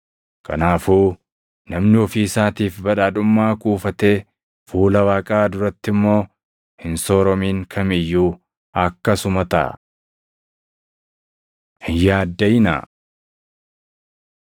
“Kanaafuu namni ofii isaatiif badhaadhummaa kuufatee fuula Waaqaa duratti immoo hin sooromin kam iyyuu akkasuma taʼa.” Hin Yaaddaʼinaa 12:22‑31 kwf – Mat 6:25‑33